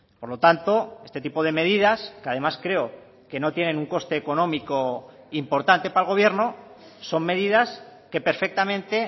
por lo tanto este tipo de medidas que además creo que no tienen un coste económico importante para el gobierno son medidas que perfectamente